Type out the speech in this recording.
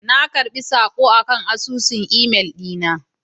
Na karɓi saƙon akan asusun Gmail dina